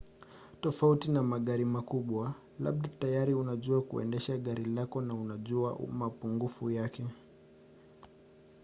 tofauti na magari makubwa labda tayari unajua kuendesha gari lako na unajua mapungufu yake